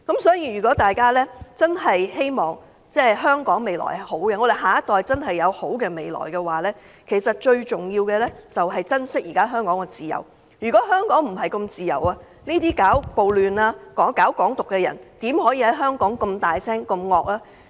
所以，如果大家希望香港未來良好，下一代真的有好的未來，其實最重要的是珍惜香港現時的自由，如果香港並非那麼自由，這些搞暴亂、搞"港獨"的人怎可以在香港這麼大聲、這麼兇惡？